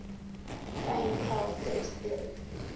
fraenkel set theory